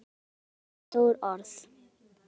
Amma kallar á stór orð.